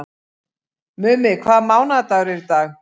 Mummi, hvaða mánaðardagur er í dag?